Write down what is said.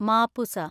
Mapusa